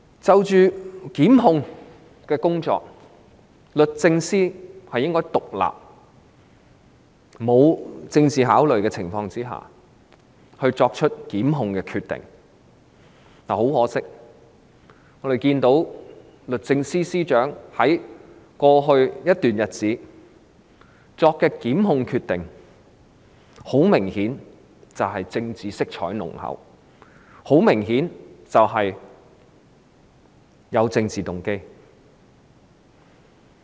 就檢控工作而言，律政司應在沒有政治考慮的情況下，獨立地作出檢控決定，但很可惜，律政司司長在過去一段時間作出的檢控決定，明顯地有濃厚政治色彩和政治動機。